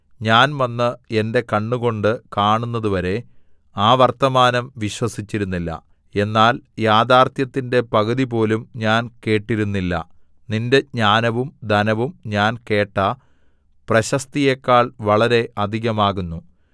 ഞാൻ വന്ന് എന്റെ കണ്ണുകൊണ്ട് കാണുന്നതുവരെ ആ വർത്തമാനം വിശ്വസിച്ചിരുന്നില്ല എന്നാൽ യാഥാർത്ഥ്യത്തിന്റെ പകുതിപോലും ഞാൻ കേട്ടിരുന്നില്ല നിന്റെ ജ്ഞാനവും ധനവും ഞാൻ കേട്ട പ്രശസ്തിയേക്കാൾ വളരെ അധികമാകുന്നു